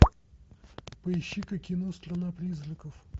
поищи ка кино страна призраков